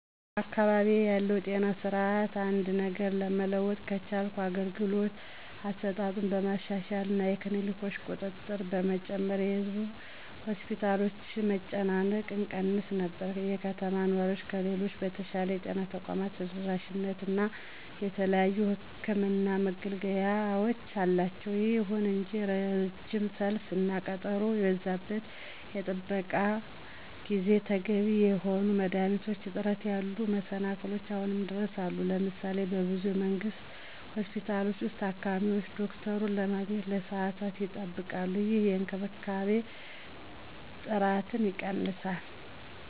በአካባቢዬ ካለው ጤና ስርዓት አንድ ነገር መለወጥ ከቻልኩ የአገልግሎት አሰጣጡን በማሻሻል እና የክሊኒኮችን ቁጥር በመጨመር የህዝብ ሆስፒታሎችን መጨናነቅ እቀንስ ነበር። የከተማ ነዋሪዎች ከሌሎች በተሻለ የጤና ተቋም ተደራሽነት እና የተለያዩ የሕክምን መገልገያወች አላቸው። ይሁን እንጂ ረጅም ሰልፍ እና ቀጠሮ የበዛበት የጥበቃ ጊዜ፣ ተገቢ የሆኑ የመድኃኒት እጥረት ያሉ መሰላክሎች አሁንም ድረስ አሉ። ለምሳሌ:- በብዙ የመንግስት ሆስፒታሎች ውስጥ, ታካሚዎች ዶክተሩን ለማግኘት ለሰዓታት ይጠብቃሉ, ይህም የእንክብካቤ ጥራትን ይቀንሳል።